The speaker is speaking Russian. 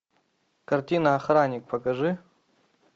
картина охранник покажи